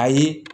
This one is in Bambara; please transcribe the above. Ayi